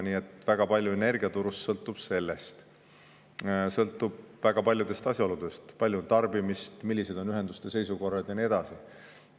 Nii et väga palju energiaturul sõltub sellest, sõltub väga paljudest asjaoludest: kui palju on tarbimist, milline on ühenduste seisukord ja nii edasi.